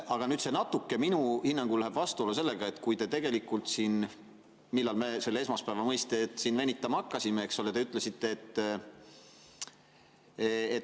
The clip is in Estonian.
Aga see läheb minu hinnangul natuke vastuollu sellega, et te ütlesite siin – millal me seda esmaspäeva mõistet siin venitama hakkasimegi?